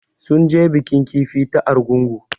Sun je bikin kifi ta Argungu